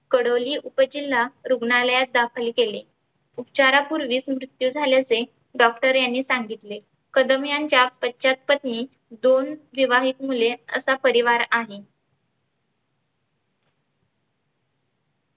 कडोली उपजिल्हा रुग्णालयात दाखल केले. उपचारा पुर्वीच मृत्यू झाल्याचे Doctor यांनी सांगितले. कदम यांच्या पश्चात पत्नी दोन विवाहीत मुले असा परिवार आहे.